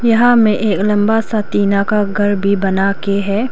यहां में एक लंबा सा टीना का घर भी बनाके है।